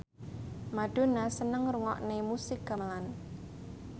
Madonna seneng ngrungokne musik gamelan